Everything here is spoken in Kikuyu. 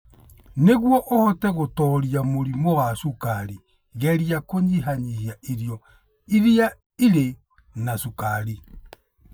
Nĩguo ũhote gũtooria mũrimũ wa cukari, geria kũnyihanyihia irio iria irĩ na cukari.